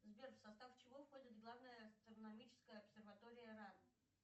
сбер в состав чего входит главная астрономическая обсерватория ран